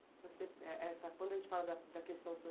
Você. É essa, quando a gente fala da da questão